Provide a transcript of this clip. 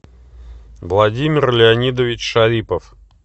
владимир леонидович шарипов